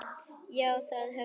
Já, það höfum við.